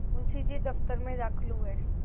मुंशी जी दफ्तर में दाखिल हुए